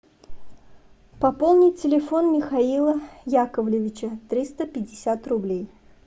пополнить телефон михаила яковлевича триста пятьдесят рублей